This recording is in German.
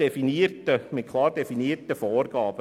Dazu braucht es klar definierte Vorgaben.